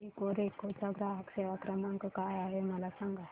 Ecoreco चा ग्राहक सेवा क्रमांक काय आहे मला सांग